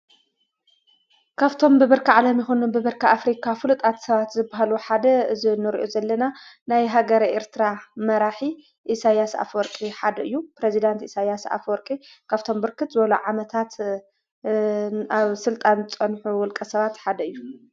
ካብቶም ብብርኪ ዓለም ይኩን ብብርኪ ኣፍሪካ ፍሉጣት ሰባት ዝበሃሉ ሓደ እዚ እንሪኦ ዘለና ናይ ሃገረ ኤርትራ መራሒ ኢሳይያስ ኣፍወርቂ ሓደ እዩ። ፕረዚዳንት ኢሳይያስ ኣፍወርቂ ካብቶም ብርክት ዝበሉ ዓመታት ኣብ ሥልጣን ዝፀንሑ ውልቀ ሰባት ሓደ እዩ።